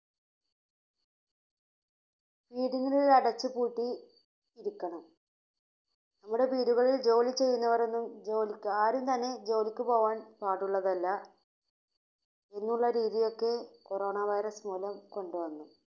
വീടുകളിൽ അടച്ചുപൂട്ടി ഇരിക്കണം നമ്മുടെ വീടുകളിൽ ജോലി ചെയ്യുന്നവരൊന്നും ജോലിക്ക് ആരും തന്നെ ജോലിക്ക് പോകാൻ പാടുള്ളതല്ല എന്നുള്ള രീതിയൊക്കെ Corona virus മൂലം കൊണ്ടുവന്നു.